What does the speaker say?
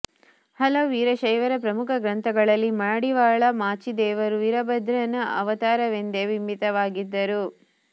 ಹಲವು ವೀರಶೈವರ ಪ್ರಮುಖ ಗ್ರಂಥಗಳಲ್ಲಿ ಮಾಡಿವಾಳ ಮಾಚಿದೇವರು ವೀರಭದ್ರನ ಅವತಾರವೆಂದೆ ಬಿಂಬಿತವಾಗಿದ್ದರು